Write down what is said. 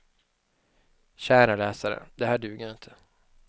Kära läsare, det här duger inte.